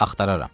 Axtararam.